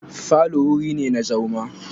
Falo wuri ne na zauma.